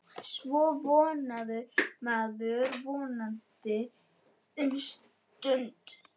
Svo vonaði maður, vonaði um stund.